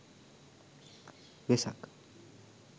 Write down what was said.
vesak